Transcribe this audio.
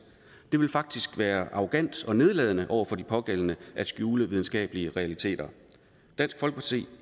det vil faktisk være arrogant og nedladende over for de pågældende at skjule videnskabelige realiteter dansk folkeparti